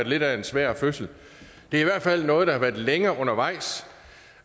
lidt af en svær fødsel det er i hvert fald noget der har været længe undervejs